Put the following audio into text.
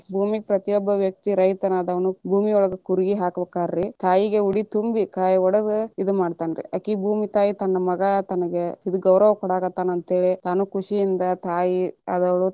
ಭೂಮಿಗ ಪ್ರತಿಯೊಬ್ಬ ವ್ಯಕ್ತಿ ರೈತನಾದವನು ಭೂಮಿ ಒಳಗ ಕೂರ್ಗಿ ಹಾಕಬೇಕರೀ, ತಾಯಿಗೆ ಉಡಿ ತುಂಬಿ ಕಾಯಿ ಒಡದ ಇದ ಮಾಡತಾನ ರೀ ಅಕಿ ಭೂಮಿ ತಾಯಿ ತನ್ನ ಮಗ ತನಗ ಇದ ಗೌರವ ಕೊಡಾಕತಾನ ಅಂತ ಹೇಳಿ ತಾನು ಖುಷಿಯಿಂದ ತಾಯಿ ಆದವಳು ತನ್ನ.